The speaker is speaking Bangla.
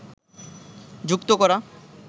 যুক্ত করা